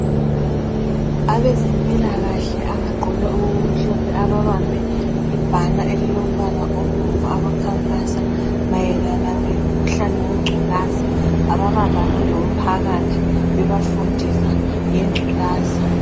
Abezempilakahle abagqoke okumhlophe ababambe ibanner elilombala obomvu abakhankasa mayelana ngomkhuhlane wengculaza, ababambane lomphakathi bebafundisa ngengculaza.